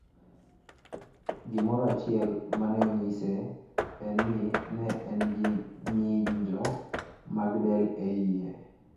Gimoro achiel ma ne onyise en ni, ne en gi ng'injo mag del e iye.